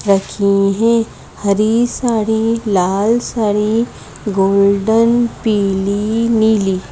रखी है हरी साड़ी लाल साड़ी गोल्डन पीली नीली--